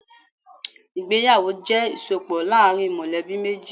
Ìgbéyàwó jẹ́ ìsopọ̀ láàrin mọ̀lẹ́bí méjì.